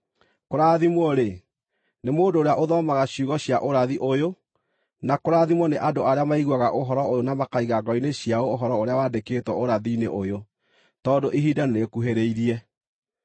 Kũrathimwo-rĩ, nĩ mũndũ ũrĩa ũthomaga ciugo cia ũrathi ũyũ, na kũrathimwo nĩ andũ arĩa maiguaga ũhoro ũyũ na makaiga ngoro-inĩ ciao ũhoro ũrĩa wandĩkĩtwo ũrathi-inĩ ũyũ, tondũ ihinda nĩrĩkuhĩrĩirie.